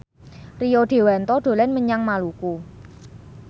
Rio Dewanto dolan menyang Maluku